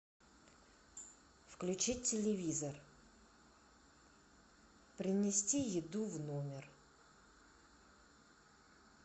включить телевизор принести еду в номер